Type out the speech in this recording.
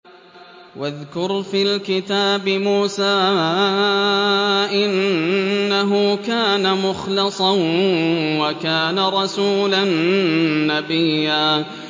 وَاذْكُرْ فِي الْكِتَابِ مُوسَىٰ ۚ إِنَّهُ كَانَ مُخْلَصًا وَكَانَ رَسُولًا نَّبِيًّا